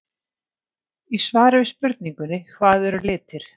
Í svari við spurningunni Hvað eru litir?